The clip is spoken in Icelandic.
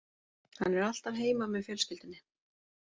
Hann er alltaf heima með fjölskyldunni